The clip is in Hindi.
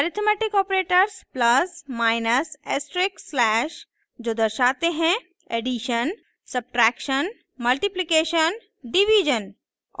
arithmetic operators plus minus asterisk slash: जो दर्शाते हैं ऐडीशन सब्ट्रैक्शन मल्टिप्लिकेशन डिवीज़न